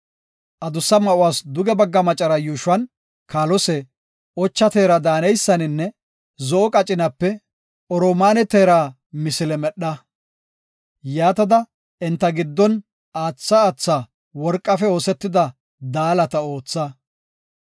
Adussa ma7uwas duge bagga macara yuushuwan kaalose, ocha teera daaneysaninne zo7o qacinape, oromaane teera misile medha. Yaatada enta giddon aatha aatha worqafe oosetida daalata ootha.